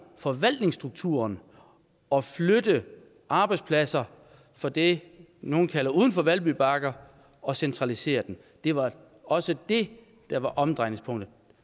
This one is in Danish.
forvaltningsstrukturen og flytte arbejdspladser fra det nogle kalder uden for valby bakke og centralisere dem det var også det der var omdrejningspunktet